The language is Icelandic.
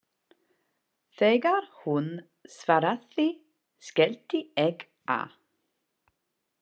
Þegar hún svaraði, skellti ég á.